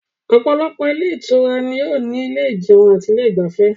Òpòlopò ilé Ìtura ni ó ní ilé ìjeun ati ilé igbafê